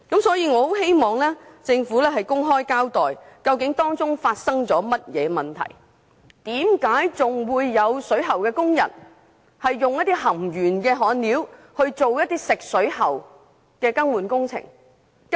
所以，我很希望政府公開交代當中究竟發生了甚麼問題，為何還有水喉工人使用含鉛焊料進行食水喉更換工程？